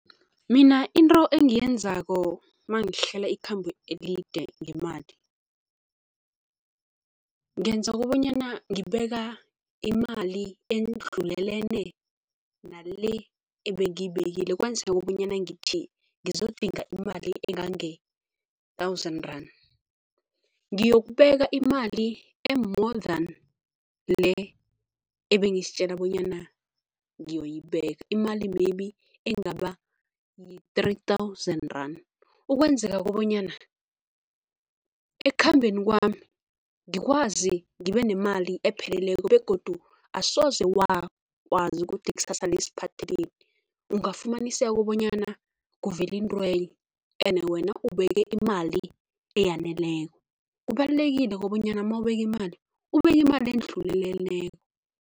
Mina into engiyenzako mangihlela ikhambo elide ngemali, ngenza kobanyana ngibeka imali endlulelene nale ebengiyibekile kobanyana ngithi ngizodinga imali engange-thousand rand, ngiyokubeka imali e-more than le ebengizitjela bonyana ngiyoyibeka, imali maybe engaba yi-three thousand rand. Ukwenzela kobanyana ekukhambeni kwami ngikwazi ngibe nemali epheleleko begodu asoze wazi ukuthi ikusasa lisiphatheleni. Ungafumaniseka bonyana kuvela intwenye ene wena ubeke imali eyaneleko. Kubalulekile kobanyana mawubeka imali, ubeke imali endluleleko.